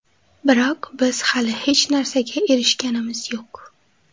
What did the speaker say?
Biroq biz hali hech narsaga erishganimiz yo‘q.